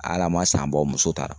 Hal'a ma san bɔ o muso taara